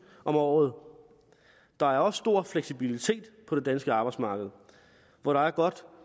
om året der er også stor fleksibilitet på det danske arbejdsmarked hvor der er godt